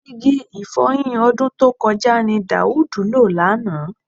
Igi ì̀fọyin ọdún tó kọjá ni Daud lò lánàá